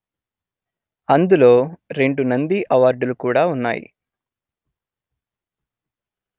అందులో రెండు నంది అవార్డులు కూడా ఉన్నాయి